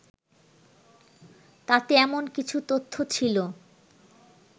তাতে এমন কিছু তথ্য ছিল